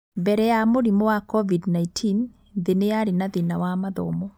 Mbere ya mũrimũ wa COVID-19, thĩ nĩ yarĩ na thĩna wa mathomo.